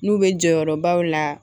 N'u bɛ jɔyɔrɔbaw la